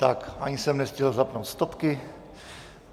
Tak ani jsem nestihl zapnout stopky.